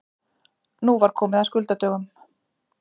Nú var komið að skuldadögum.